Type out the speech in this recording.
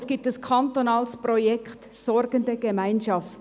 Es gibt ein kantonales Projekt «Sorgende Gemeinschaft».